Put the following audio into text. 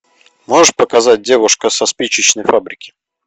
можешь показать девушка со спичечной фабрики